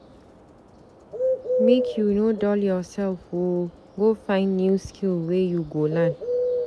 Make you no dull yoursef o, go find new skill wey you go learn.